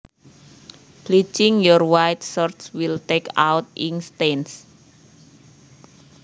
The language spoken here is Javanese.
Bleaching your white shirts will take out ink stains